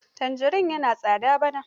Tanjarin yana tsada bana.